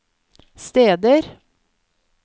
steder